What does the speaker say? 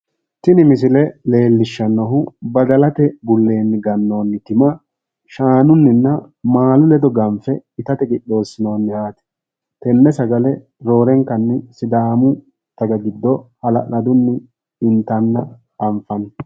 tini missile leellishanohu badalate bulleeni gannoni tima shaanunnina maalu ledo ganfe itatte qixeesinoniha tene sagale roorenkanni sidaamu dagga giddo haala'ladunni intanna anfanni.